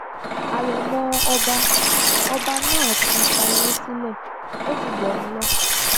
àrèmọ ọba ọba náà ti fàyè sílẹ ó ti gbọrun lọ